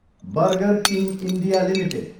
burger King India Ltd